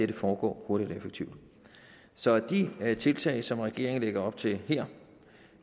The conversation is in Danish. det foregår hurtigt og effektivt så de tiltag som regeringen lægger op til her